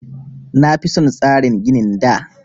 Na fi son tsarin ginin da